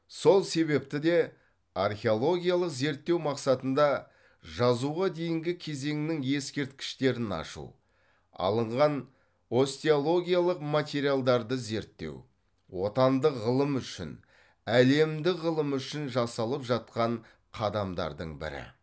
сол себепті де археологиялық зерттеу мақсатында жазуға дейінгі кезеңнің ескерткіштерін ашу алынған остеологиялық материалдарды зерттеу отандық ғылым үшін әлемдік ғылым үшін жасалып жатқан қадамдардың бірі